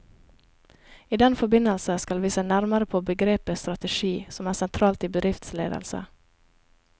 I den forbindelse skal vi se nærmere på begrepet strategi, som er sentralt i bedriftsledelse.